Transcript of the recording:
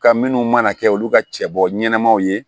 Ka minnu mana kɛ olu ka cɛbɔ ɲɛnamaw ye